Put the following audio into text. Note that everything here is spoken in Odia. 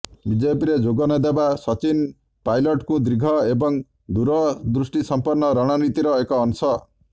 ବିଜେପିରେ ଯୋଗନଦେବା ସଚିନ ପାଇଲଟ୍ଙ୍କ ଦୀର୍ଘ ଏବଂ ଦୂରଦୃଷ୍ଟିସମ୍ପନ୍ନ ରଣନୀତିର ଏକ ଅଂଶ